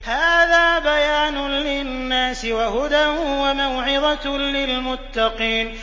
هَٰذَا بَيَانٌ لِّلنَّاسِ وَهُدًى وَمَوْعِظَةٌ لِّلْمُتَّقِينَ